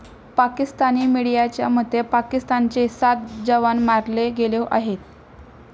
पाकिस्तानी मीडियाच्या मते, पाकिस्तानचे सात जवान मारले गेले आहेत.